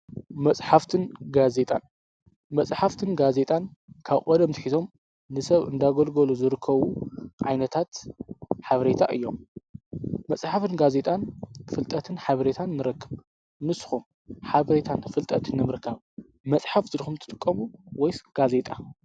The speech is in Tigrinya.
መጽፍትን ዜጣመጽሕፍትን ጋዜጣን ካብ ቖደምቲኺቶም ንሰብ እንዳጐልጎሎ ዝርከቡ ዓይነታት ሓብሬታ እዮም መጽሕፍን ጋዜጣን ፍልጠትን ኃብሬታን ንረክብ ንስኹም ኃብሬታን ፍልጠትን ኣምርካብ መጽሓፍ ዝድኹምቲ ጥቀቡ ወይስ ጋዜጣ።